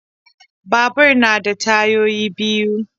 Babur yana da tayoyi biyu.